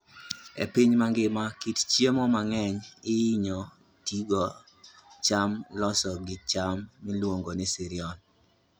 E piny mangima, kit chiemo mang'eny ihinyo tigo gi cham molos gi cham miluongo ni cereal.